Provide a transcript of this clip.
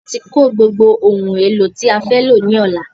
A ti kó gbogbo ohun èlò tí a fẹ́ lọ ní Ọ̀la